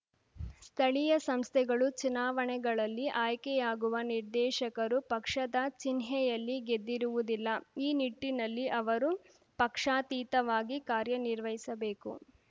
ಸ್ಥಳೀಯ ಸಂಸ್ಥೆಗಳು ಚುನಾವಣೆಗಳಲ್ಲಿ ಆಯ್ಕೆಯಾಗುವ ನಿರ್ದೇಶಕರು ಪಕ್ಷದ ಚಿಹ್ನೆಯಲ್ಲಿ ಗೆದ್ದಿರುವುದಿಲ್ಲ ಈ ನಿಟ್ಟಿನಲ್ಲಿ ಅವರು ಪಕ್ಷಾತೀತಾವಾಗಿ ಕಾರ್ಯನಿರ್ವಹಿಸಬೇಕು